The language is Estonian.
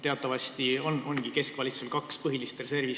Teatavasti on keskvalitsusel kaks põhilist reservi.